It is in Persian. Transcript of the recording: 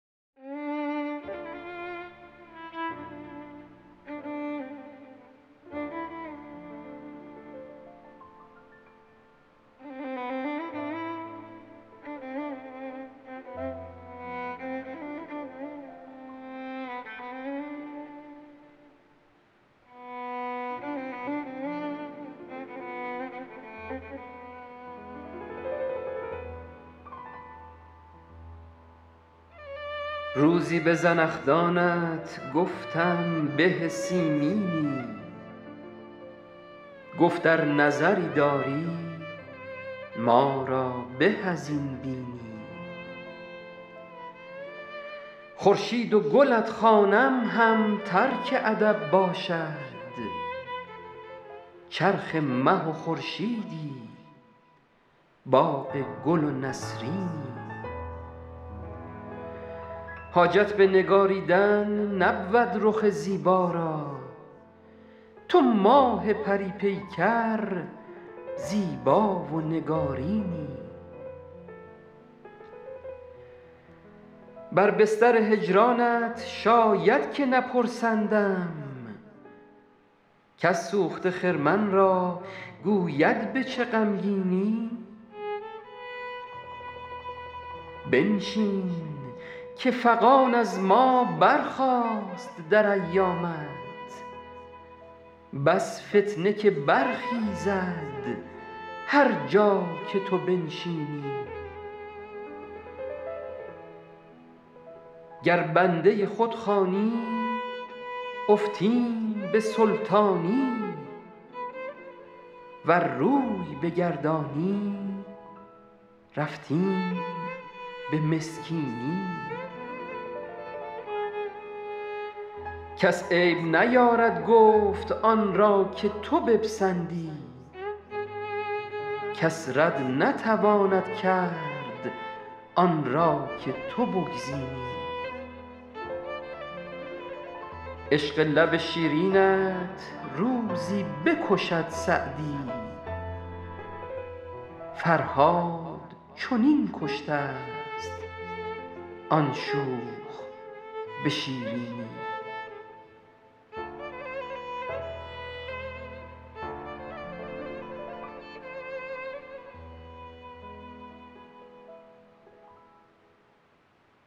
روزی به زنخدانت گفتم به سیمینی گفت ار نظری داری ما را به از این بینی خورشید و گلت خوانم هم ترک ادب باشد چرخ مه و خورشیدی باغ گل و نسرینی حاجت به نگاریدن نبود رخ زیبا را تو ماه پری پیکر زیبا و نگارینی بر بستر هجرانت شاید که نپرسندم کس سوخته خرمن را گوید به چه غمگینی بنشین که فغان از ما برخاست در ایامت بس فتنه که برخیزد هر جا که تو بنشینی گر بنده خود خوانی افتیم به سلطانی ور روی بگردانی رفتیم به مسکینی کس عیب نیارد گفت آن را که تو بپسندی کس رد نتواند کرد آن را که تو بگزینی عشق لب شیرینت روزی بکشد سعدی فرهاد چنین کشته ست آن شوخ به شیرینی